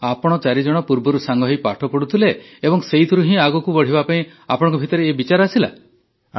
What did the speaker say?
ଆପଣ ଚାରିଜଣ ପୂର୍ବରୁ ସାଙ୍ଗହୋଇ ପାଠ ପଢ଼ୁଥିଲେ ଏବଂ ସେଥିରୁ ହିଁ ଆଗକୁ ବଢ଼ିବା ପାଇଁ ଆପଣଙ୍କ ଭିତରେ ଏ ବିଚାର ଆସିଲା